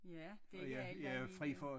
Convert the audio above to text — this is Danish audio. Ja det ikke alle der er lige glade